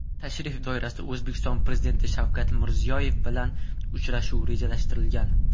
Tashrif doirasida O‘zbekiston Prezidenti Shavkat Mirziyoyev bilan uchrashuv rejalashtirilgan.